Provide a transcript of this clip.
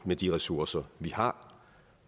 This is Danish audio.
med de ressourcer vi har